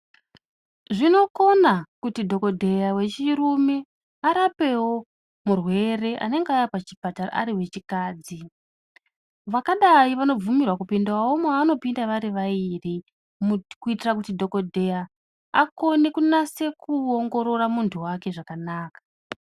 Zvinokona kuti dhokodheya wechirume arapaewo murwere anenge auya pachipatara Ari wechikadzi Vakadai vanobvumi rwawo kupinda mavo nopinda vari vaviri kuitira kuti dhokodheya akwanise kunyaso ongorora muntu wake zvakanaka.